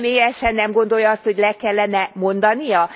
Ön személyesen nem gondolja azt, hogy le kellene mondania?